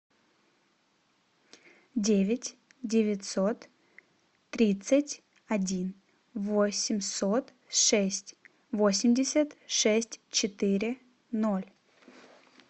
девять девятьсот тридцать один восемьсот шесть восемьдесят шесть четыре ноль